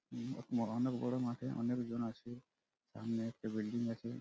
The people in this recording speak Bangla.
ম অনেক গরম আছে অনেকজন আছে সামনে একটি বিল্ডিং আছে।